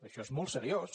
això és molt seriós